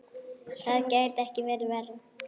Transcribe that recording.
Það gæti ekki verið verra.